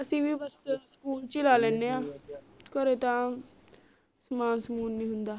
ਅਸੀਂ ਵੀ ਬਸ school ਚ ਹੀ ਲੈ ਲੈਣੇ ਆ ਘਰੇ ਤਾ ਸਾਮਾਨ ਸਮੁਨ ਨੀ ਹੁੰਦਾ